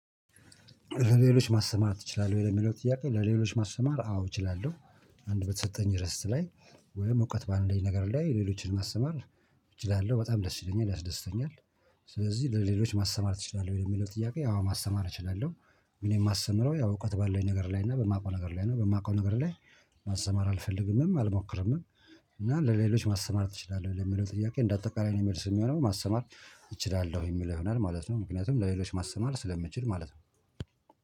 ለሌሎች? ማስተማር ትችላለህ ወይ ለሚለው ጥያቄ ለሌሎች ማስተማር አዎ እችላለሁ። አንድ በተሰጠኝ ርዕት ላይ ወይም እውቀት በአለኝ ነገር ላይ ሌሎችን ማስተማር እችላለሁ በጣም ደስ ይለኛል ያስደስተኛል። ስለዚህ ለሌሎች ማስተማር ትችላለህ ወይ የሚለው ጥያቄ አዎ ማስተማር እችላለሁ። ግን የማስተምረው ያው እውቀት ባለው ነገር ላይ እና በማውቀው ነገር ላይ ነው በማውቀው ነገር ላይ ማስተማር አልፈልግምም አልሞክርምም። እና ለሌሎች ማስተማር ትችላለህ የሚለው ጥያቄ? እንደ አጠቃላይ መልስ የሚሆነውን ማስተማር እችላለሁ የሚለው ይሆናል ማለት ነው። ምክንያቱም ለሌሎች ማስተማር ስለምትችል ማለት ነው